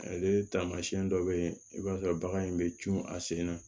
Ale taamasiyɛn dɔ bɛ ye i b'a sɔrɔ bagan in bɛ cun a sen na